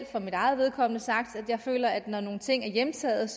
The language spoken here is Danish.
for mit eget vedkommende sagt at jeg føler at når nogle ting er hjemtaget